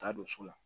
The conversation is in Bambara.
Ka don so la